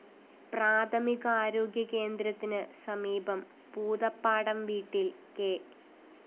പ്രാഥമികാരോഗ്യ കേന്ദ്രത്തിന് സമീപം പൂതപ്പാടം വീട്ടില്‍ കെ